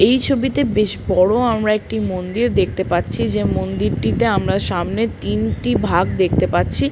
এই ছবিতে বেশ বড় আমরা একটি মন্দির দেখতে পাচ্ছি। যে মন্দিরটিতে আমরা সামনের তিনটি ভাগ দেখতে পাচ্ছি।